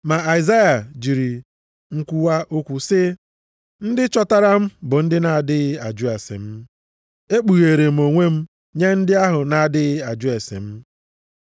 Ma Aịzaya jiri nkwuwa okwu sị, “Ndị chọtara m bụ ndị na-adịghị ajụ ase m, ekpugheere m onwe m nye ndị ahụ na-adịghị ajụ ase m.” + 10:20 \+xt Aịz 65:1\+xt*